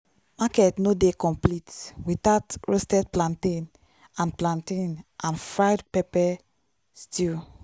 market no dey complete without roasted plantain and plantain and fried pepper stew.